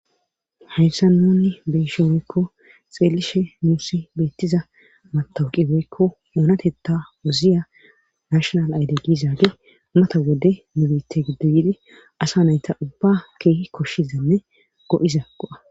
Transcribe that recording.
Hayssan nuuni beuishe woykko xeelishe nuussi beettiza matawaqe woykko dereteetta wozziya nashal ayfe gizagey mata wode nu biitta asa nayta ubbaa keehippe koshizanne go7iza go7a